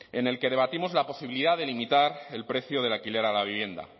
en el que debatimos la posibilidad de limitar el precio del alquiler a la vivienda